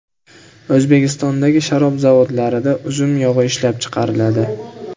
O‘zbekistondagi sharob zavodlarida uzum yog‘i ishlab chiqariladi.